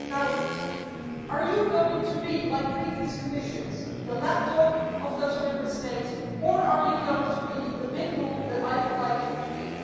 Now, are you going to be like previous Commissions the lapdog of those Member States or are you going to be the pitbull that I would like you to be?